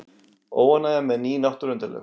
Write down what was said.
Óánægja með ný náttúruverndarlög